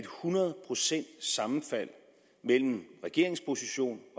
hundrede procents sammenfald mellem regeringens position